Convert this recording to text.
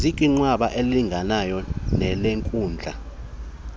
zikwinqanaba elilinganayo nelenkundla